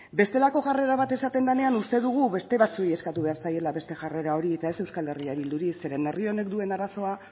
bestelako jarrera bat esaten denean uste dugu beste batzuei eskatu behar zaiela beste jarrera hori eta ez euskal herria bilduri zeren herri honek duen arazoa